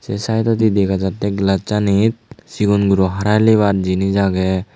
se side odi dega jatte glass anit sigon guro Hara helebar jinich age.